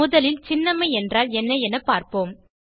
முதலில் சின்னம்மை என்றால் என்ன என பார்ப்போம்